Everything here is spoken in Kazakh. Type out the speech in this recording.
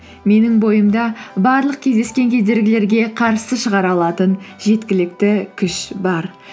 менің бойымда барлық кездескен кедергілерге қарсы шығара алатын жеткілікті күш бар